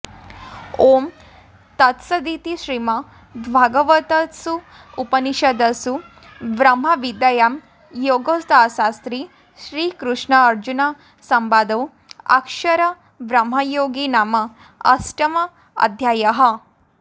ॐ तत्सदिति श्रीमद्भगवद्गीतासूपनिषत्सु ब्रह्मविद्यायां योगशास्त्रे श्रीकृष्नार्जुनसंवादे अक्षरब्रह्मयोगो नाम अष्टमोऽध्यायः